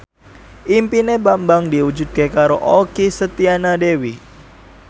impine Bambang diwujudke karo Okky Setiana Dewi